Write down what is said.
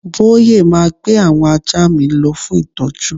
Boye ma gbé àwọn ajá mi lọ fún ìtọ́jú